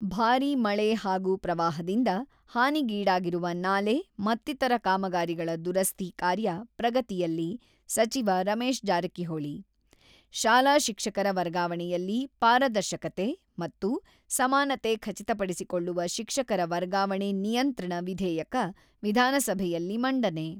-ಭಾರಿ ಮಳೆ ಹಾಗೂ ಪ್ರವಾಹದಿಂದ ಹಾನಿಗೀಡಾಗಿರುವ ನಾಲೆ ಮತ್ತಿತರ ಕಾಮಗಾರಿಗಳ ದುರಸ್ತಿ ಕಾರ್ಯ ಪ್ರಗತಿಯಲ್ಲಿ ಸಚಿವ ರಮೇಶ್ ಜಾರಕಿಹೊಳಿ, ಶಾಲಾ ಶಿಕ್ಷಕರ ವರ್ಗಾವಣೆಯಲ್ಲಿ ಪಾರದರ್ಶಕತೆ ಮತ್ತು ಸಮಾನತೆ ಖಚಿತಪಡಿಸಿಕೊಳ್ಳುವ ಶಿಕ್ಷಕರ ವರ್ಗಾವಣೆ ನಿಯಂತ್ರಣ ವಿಧೇಯಕ ವಿಧಾನಸಭೆಯಲ್ಲಿ ಮಂಡನೆ.